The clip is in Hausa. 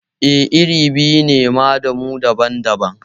Eh, iri biyu ne ma da mu daban-daban